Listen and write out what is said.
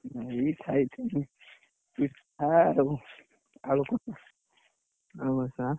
ଏଇ ଖାଇଥିଲି ପି ଠା ଆଉ ଆଳୁକଷା। ।